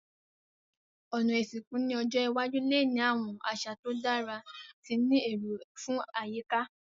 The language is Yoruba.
Òná ìsìnkú ni ọjọ́ iwájú le ni àwon àsà to dára ti ni éró fun àyíká